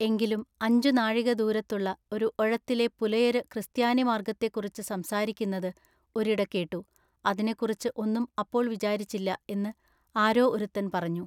എങ്കിലും അഞ്ചു നാഴിക ദൂരത്തുള്ള ഒരു ഒഴത്തിലെ പുലയരു ക്രിസ്ത്യാനി മാർഗത്തെക്കുറിച്ച് സംസാരിക്കുന്നതു ഒരിട കേട്ടു അതിനെക്കുറിച്ചു ഒന്നും അപ്പോൾ വിചാരിച്ചില്ല എന്നു ആരോ ഒരുത്തൻ പറഞ്ഞു.